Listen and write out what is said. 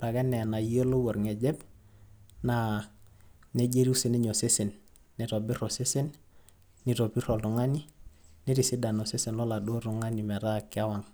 ore ake enaa enayiolou orng'ejep, na nejia etiu sininye osesen. Nitobir osesen, nitobir oltung'ani, nitisidan osesen loladuo tung'ani metaa kewang'.